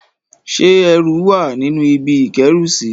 Ṣé ẹrù wà nínú ibi ìkóẹrùsí?